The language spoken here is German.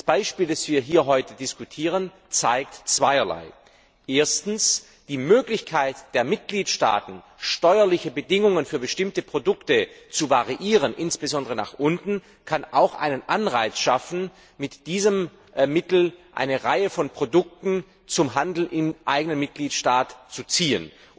Das Beispiel, das wir hier heute diskutieren, zeigt zweierlei Erstens die Möglichkeit der Mitgliedstaaten, steuerliche Bedingungen für bestimmte Produkte zu variieren, insbesondere nach unten, kann auch einen Anreiz schaffen, mit diesem Mittel eine Reihe von Produkten zum Handel im eigenen Mitgliedstaat zu ziehen.